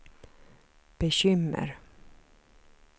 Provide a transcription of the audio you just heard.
bekymmer